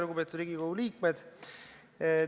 Lugupeetud Riigikogu liikmed!